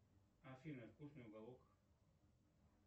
афина вкусный уголок